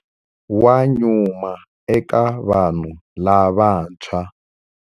Wa nyuma eka vanhu lavantshwa.